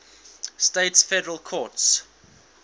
states federal courts